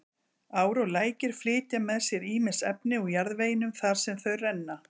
Ár og lækir flytja með sér ýmis efni úr jarðveginum þar sem þau renna.